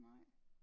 nej